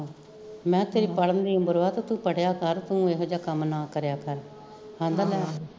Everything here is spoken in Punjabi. ਮੈਂ ਕਿਹਾ ਤੇਰੀ ਪੜਨ ਦੀ ਉਮਰ ਵਾ ਤੇ ਤੂੰ ਪੜਿਆ ਕਰ ਤੂੰ ਏਹੋ ਜਿਹਾ ਕੰਮ ਨਾ ਕਰਿਆ ਕਰ ਕਹਿਦਾ ਮੈਂ